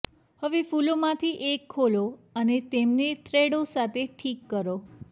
હવે ફૂલોમાંથી એક ખોલો અને તેમને થ્રેડો સાથે ઠીક કરો